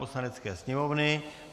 Poslanecké sněmovny